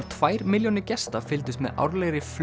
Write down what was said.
tvær milljónir gesta fylgdust með árlegri